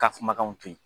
Ka kumakanw to yen